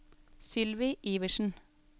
Sylvi Iversen